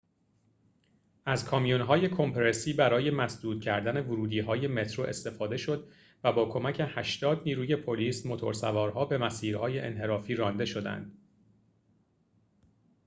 از کامیون‌های کمپرسی برای مسدود کردن ورودی‌های مترو استفاده شد و با کمک ۸۰ نیروی پلیس موتورسوارها به مسیرهای انحرافی رانده شدند